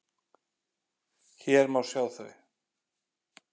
Hér má sjá þau.